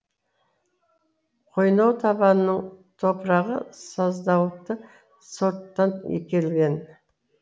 қойнау табанының топырағы саздауытты сорттан келген